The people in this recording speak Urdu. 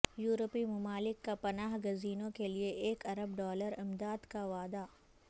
یورپی ممالک کا پناہ گزینوں کے لیے ایک ارب ڈالر امداد کا وعدہ